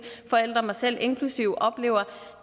forældre mig selv inklusive oplever